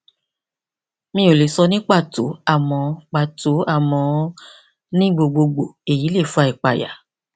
mi ò lè sọ ní pàtó àmọ pàtó àmọ ní gbogbogbò èyí lè fa ìpayà